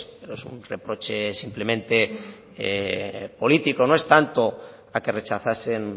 pero es un reproche simplemente político no es tanto a que rechazasen